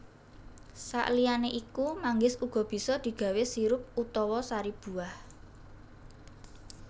Saliyané iku manggis uga bisa digawé sirup utawa sari buah